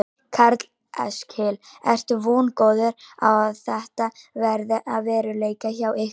Karl Eskil: Ertu vongóður á að þetta verði að veruleika hjá ykkur?